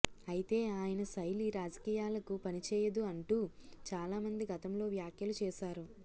అయితే ఆయన శైలి రాజకీయాలకు పని చేయదు అంటూ చాలా మంది గతంలో వ్యాఖ్యలు చేశారు